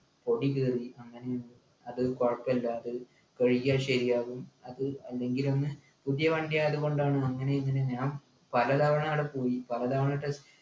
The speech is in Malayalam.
പൊടി കേറി അങ്ങനെ അത് കൊഴപ്പല്ല അത് കഴുകിയാ ശരിയാവും അത് അല്ലെങ്കിലും പുതിയ വണ്ടിയായതുകൊണ്ടാണ് അങ്ങനെ ഇങ്ങനെ ഞാൻ പലതവണ ആട പോയി